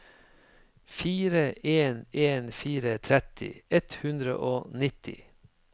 fire en en fire tretti ett hundre og nitti